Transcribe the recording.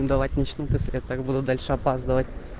давать начнут если я так буду дальше опаздывать